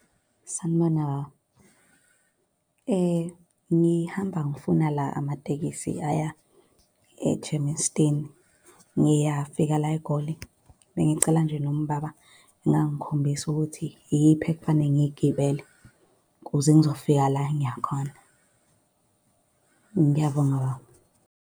Sanibona, baba. Ngihamba ngifuna la amatekisi aya eGermiston. Ngiyafika la eGoli. Bengicela nje noma ubaba engangikhombisa ukuthi iyiphi ekufanele ngiy'gibele, kuze ngizofika la engiya khona. Ngiyabonga, baba.